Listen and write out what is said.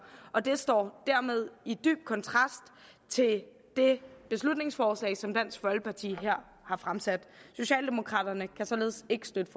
og det står dermed i dyb kontrast til det beslutningsforslag som dansk folkeparti her har fremsat socialdemokraterne kan således ikke støtte